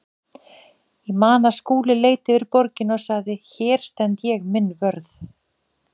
Ég man að Skúli leit yfir borgina og sagði: Hér stend ég minn vörð.